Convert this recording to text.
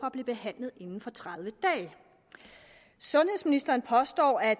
at blive behandlet inden for tredive dage sundhedsministeren påstår at